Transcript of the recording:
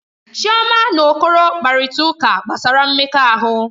Chioma na Okoro kparịta ụka gbasara mmekọahụ.